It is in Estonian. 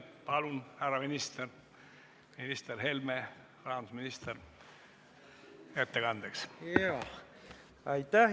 Palun, härra minister Helme, rahandusminister, ettekandeks siia!